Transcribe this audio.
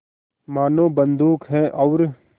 मानो बंदूक है और